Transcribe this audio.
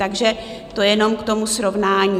Takže to jenom k tomu srovnání.